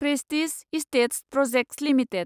prestige estates projects limited